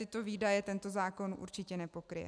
Tyto výdaje tento zákon určitě nepokryje.